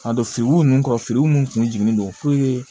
Ka don firigo nunnu kɔ feerew kun jiginnen don